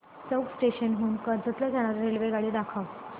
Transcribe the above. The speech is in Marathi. चौक स्टेशन हून कर्जत ला जाणारी रेल्वेगाडी दाखव